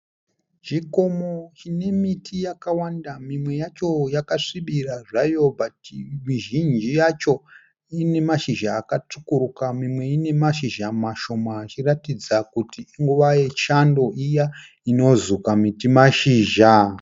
Chikomo chine miti yakawanda mimwe yacho yakasvibira zvayo asi mizhinji yacho ine mashizha akatsvukuruka mimwe ine mashizha mashoma ichiratidza kuti inguva yechando iya inozuka miti mashizha.